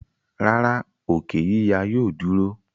rárá, òkè yíya yóò dúró.